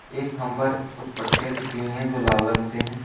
एक थंभ पर कुछ पटिया खींची हुई है जो लाल रंग से हैं।